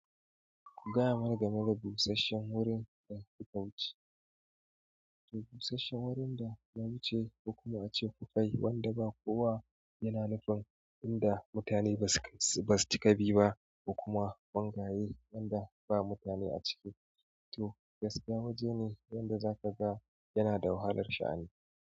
Gaya mana game da busasshen wurin da kuka wuce. To busasshen wurin da na wuce kuma ace ku faye wanda ba kowa yana nufin inda mutane basu ka bi ba, kuma bangaye wanda ba mutane a ciki. To gaskiya waje ne inda zaka ga yana da wahalar sha'ani.